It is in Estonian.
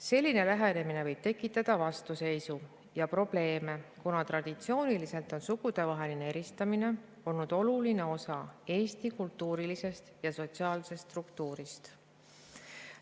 Selline lähenemine võib tekitada vastuseisu ja probleeme, kuna traditsiooniliselt on sugudevaheline eristamine olnud oluline osa Eesti kultuurilisest ja sotsiaalsest struktuurist.